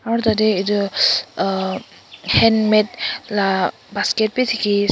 aro tate etu uhh handmade la basket b diki ase.